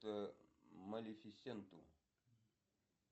малифисенту